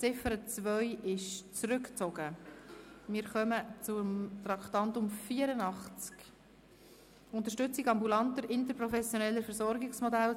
Hier sind wir uns einig: 136 Stimmen finden, diese Motion könne abgeschrieben werden.